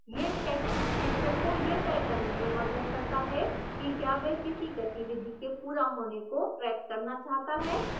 यह section शिक्षक को यह तय करने में मदद करता है कि क्या वह किसी गतिविधि के पूरा होने को track करना चाहता है